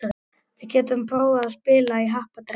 Við getum prófað að spila í happdrætti.